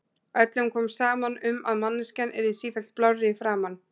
Öllum kom saman um að manneskjan yrði sífellt blárri í framan.